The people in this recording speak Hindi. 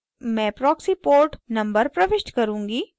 मैं proxy port number प्रविष्ट करुँगी